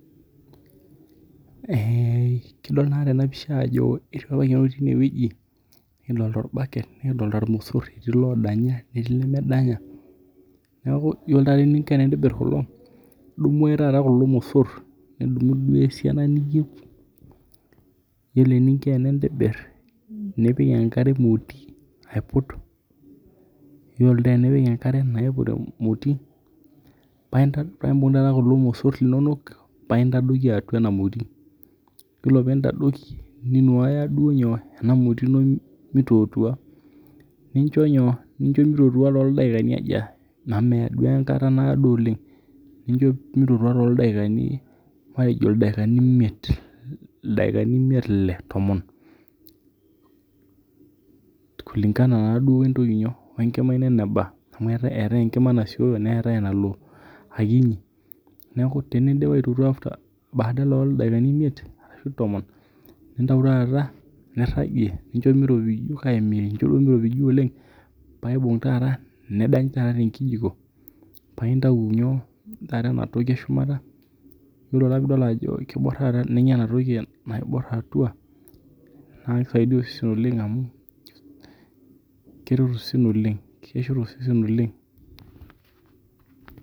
Kidol naa tena pisha ajo iltoi ootii ineweji kidolita. Orbaket eetii ilodanya neetii ilemedanya neeku iyiolo taata eninko tenintobir kulo idumu ake kulo mosor idimu ale esiana niyeu yiolo eninko tenintobir nepik enkare emoti aiput, yiolo taa tenipik enkare naiput emoti paa ibung' taa kulo mosor linonok paa intadoki atua ena moti. Oree pii intadoki ninuaya duo nyoo? Ena moti ino mitotua nincho mitotua too ldakini lemeado amu meya duo enkata naado oleng' nincho mitotua tooldaikanj matejo ildaikani imiet ile tomon kulingana naaduo wee ntoki nyoo wee nkima ino neba amu eetae enkima nasiyo neeta enalo ekinyi. Neeku teneidp atotua badala ooo ildakaini imiet ashu tomon nintayu taata niragie nincho miropiju kake mincho duo miropiju oleng' paa ibung' taata nidanya taata te nkijiko paa intayu inyoo? Ena toki eshumata. Iyiolo taa pidol ajo kibor atua ninya ena toki naibor atua naa kisaidia osesen oleng amu keshor osesen oleng.